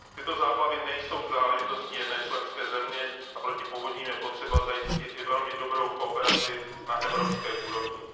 Tyto záplavy nejsou záležitostí jedné členské země a proti povodním je potřeba zajistit i velmi dobrou kooperaci na evropské úrovni.